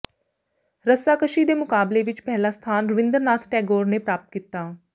ਰੱਸਾਕਸ਼ੀ ਦੇ ਮੁਕਾਬਲੇ ਵਿੱਚ ਪਹਿਲਾ ਸਥਾਨ ਰਵਿੰਦਰ ਨਾਥ ਟੈਗੋਰ ਨੇ ਪ੍ਰਾਪਤ ਕੀਤਾ